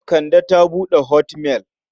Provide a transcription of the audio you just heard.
Kande ta buɗe hotmail.